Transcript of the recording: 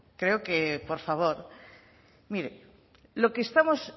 creo que por favor mire lo que estamos